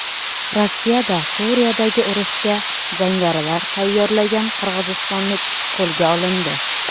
Rossiyada Suriyadagi urushga jangarilar tayyorlagan qirg‘izistonlik qo‘lga olindi.